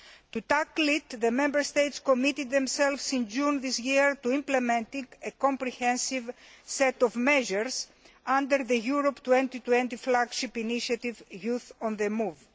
To tackle it, the Member States committed themselves in June this year to implementing a comprehensive set of measures under the Europe 2020 flagship initiative Youth on the Move.